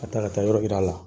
A taa ka taa yɔrɔ yir'a la.